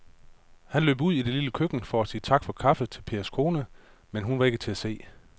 Han løb ud i det lille køkken for at sige tak for kaffe til Pers kone, men hun var ikke til at se.